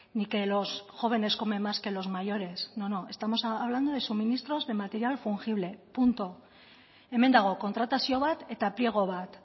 ni que los jóvenes comen más que los mayores no no estamos hablando de suministros de material fungible punto hemen dago kontratazio bat eta pliego bat